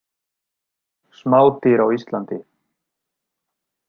Smádýr á Íslandi.